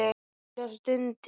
Júlía stundi.